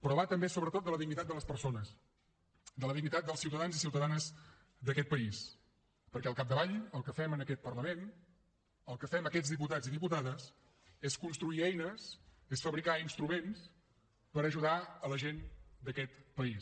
però va també sobretot de la dignitat de les persones de la dignitat dels ciutadans i ciutadanes d’aquest país perquè al capdavall el que fem en aquest parlament el que fem aquests diputats i diputades és construir eines és fabricar instruments per ajudar la gent d’aquest país